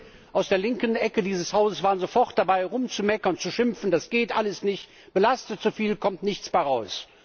Kollegen aus der linken Ecke dieses Hauses waren sofort dabei, rumzumeckern, zu schimpfen Das geht alles nicht, belastet zu viel, es kommt nichts dabei raus.